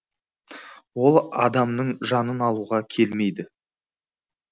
ол адамның жанын алуға келмейді